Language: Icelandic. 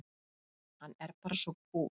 Hann er bara svo kúl!